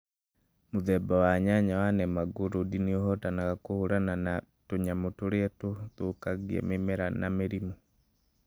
Mũthemba wa nyanya wa Nemangũrũndĩ nĩ ũhotaga kũhũrana na tũnyamũ tũrĩa tũthũkagia mĩmera na mĩrimũ